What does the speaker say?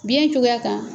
Biɲɛ cogoya kan